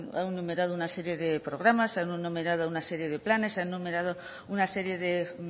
he enumerado una serie de programas se han enumerado una serie de planes se han enumerado una serie de